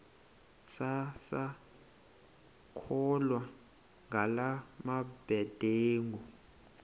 sisakholwa ngala mabedengu